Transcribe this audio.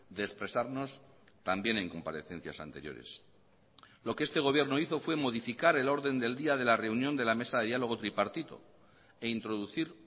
de expresarnos también en comparecencias anteriores lo que este gobierno hizo fue modificar el orden del día de la reunión de la mesa de diálogo tripartito e introducir